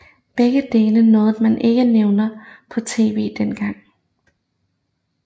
Begge dele noget man ikke nævnte på TV dengang